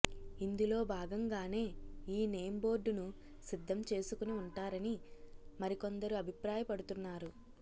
ఇందులో భాగంగానే ఈ నేమ్ బోర్డును సిద్ధం చేసుకుని ఉంటారని మరికొందరు అభిప్రాయపడుతున్నారు